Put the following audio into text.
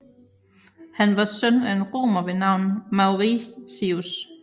Han var søn af en romer ved navn Mauricius